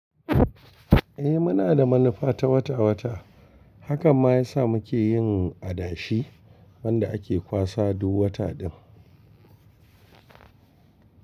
Eh muna da manufa ta wata-wata. Haka ma ya sa muke yin adashi wanda ake kwasa duk wata ɗin.